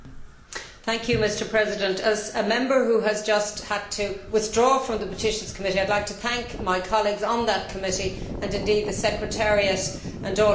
Mr President, as a member who has just had to withdraw from the Committee on Petitions, I would like to thank my colleagues on that committee, and indeed the secretariat and all who have helped me.